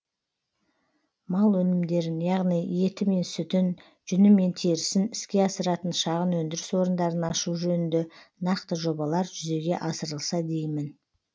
мал өнімдерін яғни еті мен сүтін жүні мен терісін іске асыратын шағын өндіріс орындарын ашу жөнінде нақты жобалар жүзеге асырылса деймін